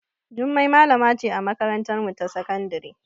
Jummai malama ce a makarantarmu ta sakandare.